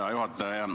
Hea juhataja!